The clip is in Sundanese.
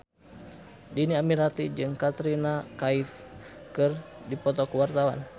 Dhini Aminarti jeung Katrina Kaif keur dipoto ku wartawan